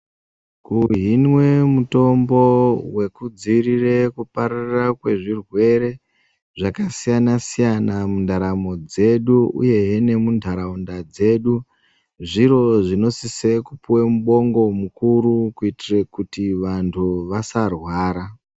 Kuhinwa mitombo wekudzivirira kupararira kwezvirwere zvakasiyana siyana mundaramo dzedu uye he nemundaraunda dzedu zviro zvinosisira kupuwa mubongo mukuru kuitira kuti vantu vasarwara.